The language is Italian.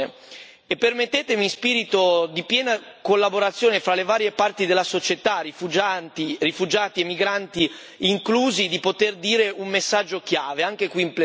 Permettetemi, in spirito di piena collaborazione fra le varie parti della società, rifugiati e migranti inclusi, di poter dire un messaggio chiave, anche qui in plenaria.